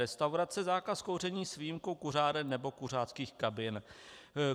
Restaurace, zákaz kouření s výjimkou kuřáren nebo kuřáckých kabin.